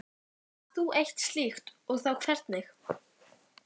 Átt þú eitt slíkt og þá hvernig?